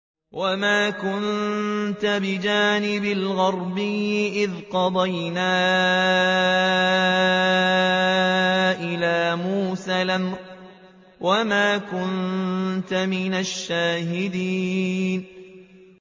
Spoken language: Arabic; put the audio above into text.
وَمَا كُنتَ بِجَانِبِ الْغَرْبِيِّ إِذْ قَضَيْنَا إِلَىٰ مُوسَى الْأَمْرَ وَمَا كُنتَ مِنَ الشَّاهِدِينَ